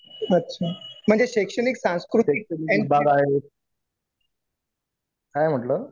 शैक्षणिक बाब आहे. काय म्हटला?